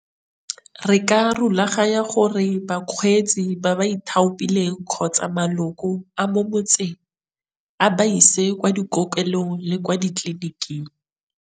Re ka rulaganya gore bakgweetsi ba ba ithaopileng kgotsa maloko a mo motseng a ba ise kwa dikokelong le kwa ditleliniking.